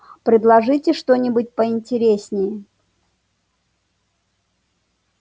предложите что-нибудь поинтереснее